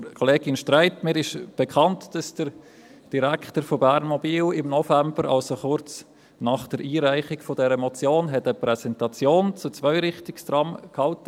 Zu Kollegin Streit: Mir ist bekannt, dass der Direktor von Bernmobil im November, also kurz nach der Einreichung dieser Motion, eine Präsentation zu Zweirichtungstrams hielt.